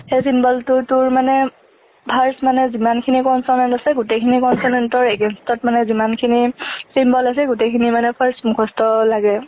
সেই symbol টো তোৰ মানে first মানে জিমানখিনি consonant আছে, গোটেই খিনি consonant তৰ against ত মানে জিমানখিনি symbol আছে গোটেখিনি মানে first মুখস্ত লাগে।